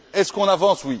Est ce qu'on avance?